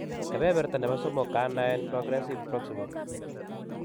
Kebeberta nebo somok kenaen progressive proximal